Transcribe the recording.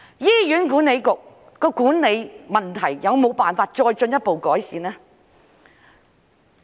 醫管局管理問題有沒有辦法再進一步改善？